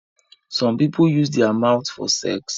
Some people use their mouths for sex